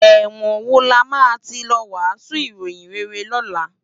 Èwòn wó làmá ti lò wàsún iróyin réré lòlá?